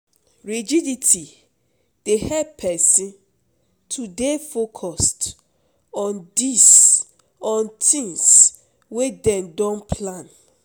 Rigidity dey help person to dey focused on tins wey dem don plan